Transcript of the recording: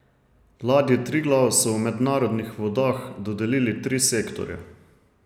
Ladji Triglav so v mednarodnih vodah dodelili tri sektorje.